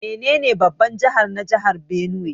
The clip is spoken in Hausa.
Menene babban jihar na jihar Benue?